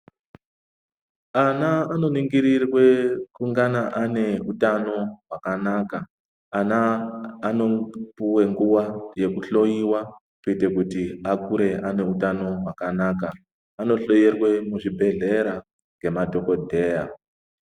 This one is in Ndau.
Ana anoningirirwe kungana ane utano hwakanaka. Ana anopuwe nguwa yekuhloiwa kuite kuti akure ane utano hwakanaka. Anohloyerwe muzvibhedhleya ngemadhokodheya.